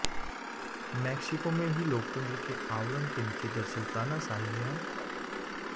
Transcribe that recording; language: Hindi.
मैक्सिको में भी लोकतंत्र के आवरण के नीचे दरअसल तानाशाही है